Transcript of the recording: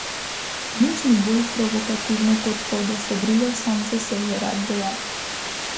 Nič ni bolj provokativno kot to, da se brigaš sam zase, je rad dejal.